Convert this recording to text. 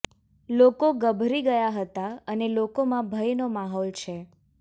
લોકો ગભરી ગયા હતા અને લોકોમાં ભયનો માહોલ છે